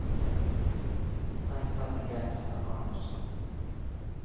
Strengt tatt en gangster, han også.